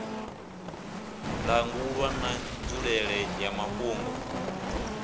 langulwa na nzulele ya muvhango